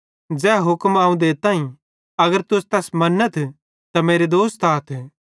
ज़ै हुक्म अवं देताईं अगर तुस तैस मन्नथ त मेरे दोस्त आथ